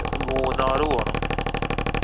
മൂന്നാറ് പോണം.